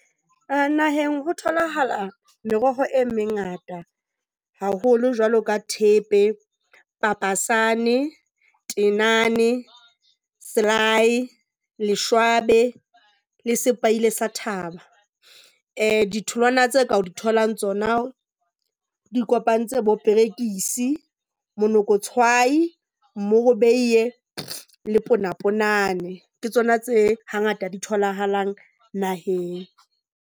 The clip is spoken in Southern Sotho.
A na ho tholahala meroho e mengata haholo jwalo ka thepe, Papasane, tenane, le selae, leshwabe le sepaile sa thaba. Ditholwana tseo ka di tholang tsona di kopantse bo perekisi, monokotshwai, morobeiye le ponapona. Ke tsona tse hangata di tholahalang naheng.